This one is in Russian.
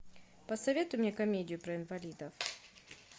посоветуй мне комедию про инвалидов